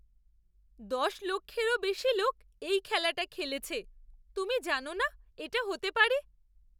দশ লক্ষেরও বেশি লোক এই খেলাটা খেলেছে। তুমি জানো না এটা হতে পারে?